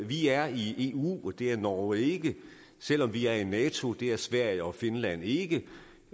vi er i eu det er norge ikke selv om vi er i nato det er sverige og finland ikke